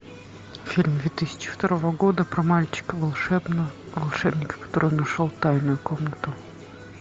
фильм две тысячи второго года про мальчика волшебника который нашел тайную комнату